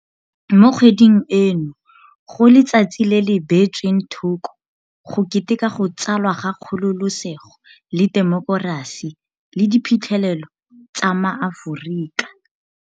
Mo kgweding eno go letsatsi le le bee tsweng thoko go keteka go tsalwa ga kgololosego le temokerasi le diphitlhelelo tsa maAforika